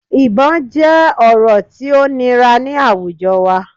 Ibọn jẹ ọrọ ti o nira ni awujọ wa